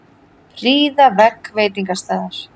Prýða vegg veitingastaðar